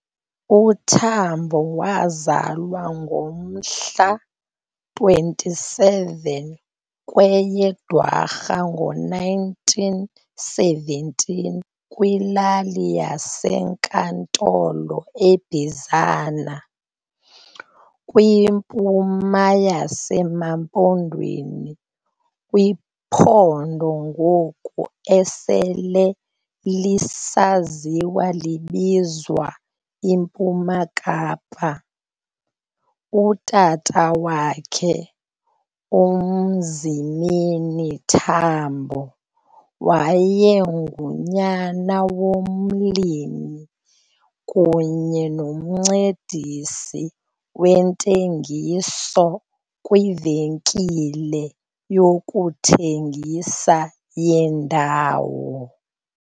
uTambo wazalwa ngomhla 27 kweye Dwarha ngo-1917 kwilali yaseNkantolo eBizana, kwimpuma yaseMaMpondweni kwiphondo ngoku esele lisaziwa libizwa iMpuma Kapa. Utata wakhe, uMzimeni Tambo, wayengunyana womlimi kunye nomncedisi wentengiso kwivenkile yokuthengisa yendawo.